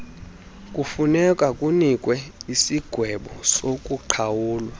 kufunekwa kunikwe isigwebosokuqhawula